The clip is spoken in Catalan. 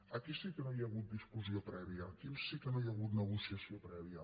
aquí sí que no hi ha hagut discussió prèvia aquí sí que no hi ha hagut negociació prèvia